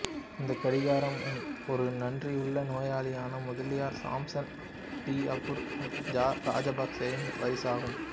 இந்த கடிகாரம் ஒரு நன்றியுள்ள நோயாளியான முதலியார் சாம்சன் டி அப்ரூ ராஜபக்சேவின் பரிசாகும்